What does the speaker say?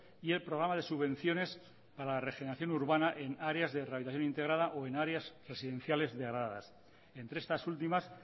y el programa de subvenciones a la regeneración urbana en áreas de rehabilitación integrada o en áreas residenciales degradadas entre estas últimas